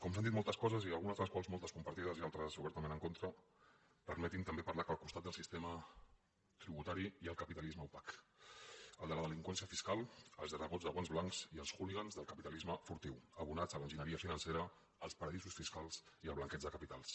com que s’han dit moltes coses i algunes de les quals moltes compartides i altres obertament en contra permetin me també parlar que al costat del sistema tributari hi ha el capitalisme opac el de la delinqüència fiscal els lladregots de guants blancs i els hooligans del capitalisme furtiu abonats a l’enginyeria financera als paradisos fiscals i al blanqueig de capitals